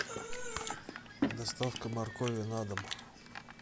доставка моркови на дом